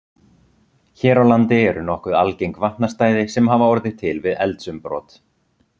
Hér á landi eru nokkuð algeng vatnastæði sem orðið hafa til við eldsumbrot.